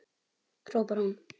hrópar hún.